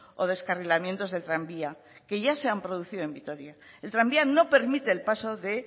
o descarrilamientos del tranvía que ya se han producido en vitoria el tranvía no permite el paso de